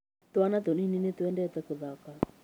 Twana tunini nĩtwendete gũthaka